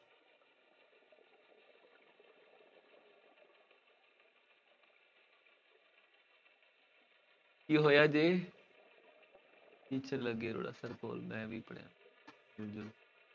ਕੀ ਹੋਇਆ ਜੀ ਕੋਲ ਮੈਂ ਵੀ ਪੜ੍ਹਿਆ